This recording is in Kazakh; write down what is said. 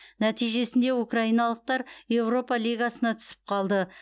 нәтижесінде украиналықтар еуропа лигасына түсіп қалды